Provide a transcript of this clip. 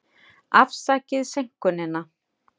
Afsakið seinkunina.